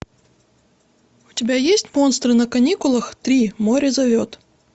у тебя есть монстры на каникулах три море зовет